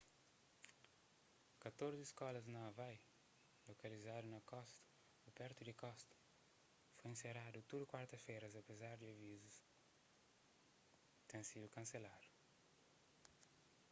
katorzi skolas na hawaii lokalizadu na kosta ô pertu di kosta foi inseradu tudu kuarta-feras apezar di avizus ten sidu kanseladu